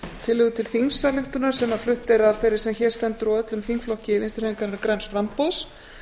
tillögu til til þingsályktunar sem flutt er af þeirri sem hér stendur og öllum þingflokki vinstri hreyfingarinnar græns framboðs